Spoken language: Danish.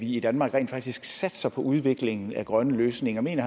i danmark rent faktisk satser på udviklingen af grønne løsninger mener